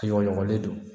Ɲɔgɔnɲɔgɔnlen don